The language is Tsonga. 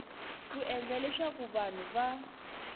ku endla leswaku vanhu va